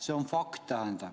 See on fakt.